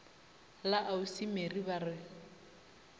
la ausi mary ba re